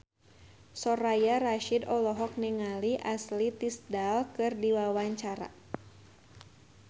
Soraya Rasyid olohok ningali Ashley Tisdale keur diwawancara